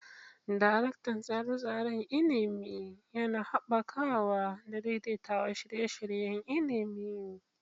Daraktan Tsare-tsaren Ilimi: Yana haɓakawa da daidaita shirye-shiryen ilimi.